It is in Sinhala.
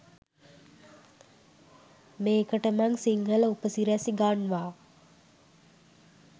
මේකට මං සිංහල උපසිරැසි ගන්වා